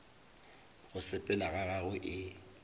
go sepela ga gagwe e